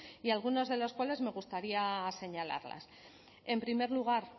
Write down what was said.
y algunas de las cuales me gustaría señalarlas en primer lugar